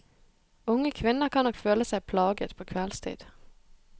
Unge kvinner kan nok føle seg plaget på kveldstid.